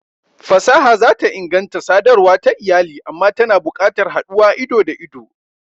Fasaha za ta inganta sadarwa ta iyali amma tana buƙatar haduwa ido-da-ido.